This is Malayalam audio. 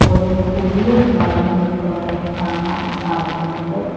ഒരു പുല്ല് വളർന്നു നിൽക്കുന്നത് കാണാൻ സാധിക്കുന്നുണ്ട്.